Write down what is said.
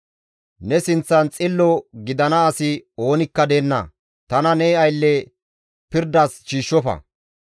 Ne sinththan xillo gidana asi oonikka deenna; tana ne aylleza pirdas shiishshofa.